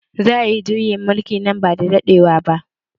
Za a yi juyin mulki nan ba da daɗewa ba